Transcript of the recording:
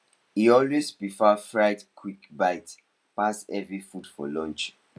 he always prefer fried quick bite pass heavy food for lunch